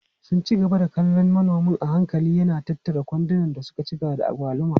Suna ci gaba da kallon manomi a hankali yana tattara kwandunan da suka cika da agwaluma.